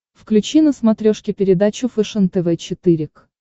включи на смотрешке передачу фэшен тв четыре к